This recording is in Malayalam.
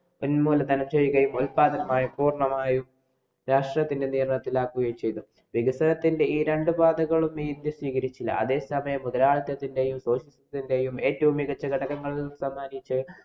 ഉന്മൂലനം ചെയ്യുകയും ഉല്‍പാദാനങ്ങള്‍ ര്‍ണ്ണമായും രാഷ്ട്രത്തിന്‍റെ നിയന്ത്രണത്തിലാക്കുകയും ചെയ്തു. വികസനത്തിന്‍റെ ഈ രണ്ടു പാതകളും ഇന്‍ഡ്യ സ്വീകരിച്ചില്ല. അതേസമയം മുതലാളിത്തത്തിന്‍റെയും, socialisam ത്തിന്‍റെയും ഏറ്റവും മികച്ച ഘടകങ്ങളില്‍ ഒന്നായിട്ടു